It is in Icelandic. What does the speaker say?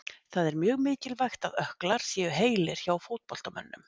Það er mjög mikilvægt að ökklar séu heilir hjá fótboltamönnum.